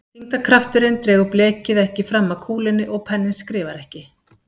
Þyngdarkrafturinn dregur blekið ekki fram að kúlunni og penninn skrifar ekki.